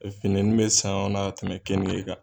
fininin be san o na tɛmɛ kenige kan